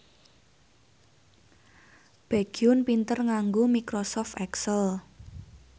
Baekhyun pinter nganggo microsoft excel